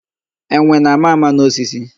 Enwe na-ama ama n'osisi.